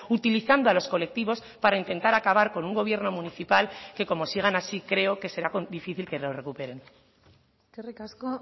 utilizando a los colectivos para intentar acabar con un gobierno municipal que como sigan así creo que será difícil que lo recuperen eskerrik asko